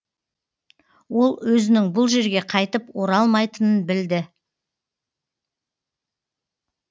ол өзінің бұл жерге қайтып оралмайтынын білді